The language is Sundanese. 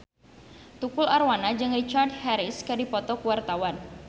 Tukul Arwana jeung Richard Harris keur dipoto ku wartawan